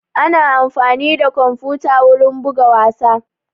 Ana amfani da kwamfuta wurin buga wasa